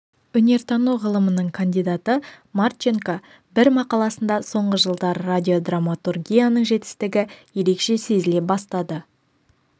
өнертану ғылымының кандидаты марченко бір мақаласында соңғы жылдары радиодраматургияның жетістігі ерекше сезіле бастады